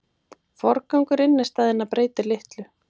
Forgangur innistæðna breytir litlu